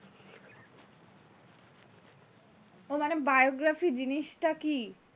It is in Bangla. ও মানে biography জিনিসটা কি,